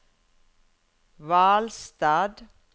Hvalstad